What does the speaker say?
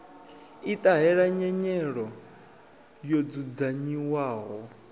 i ṱahela nyelelo yo dzudzanyiwaho